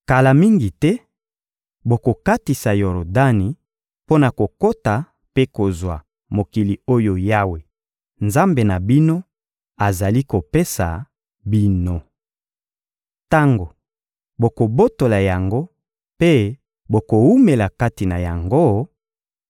Kala mingi te, bokokatisa Yordani mpo na kokota mpe kozwa mokili oyo Yawe, Nzambe na bino, azali kopesa bino. Tango bokobotola yango mpe bokowumela kati na yango,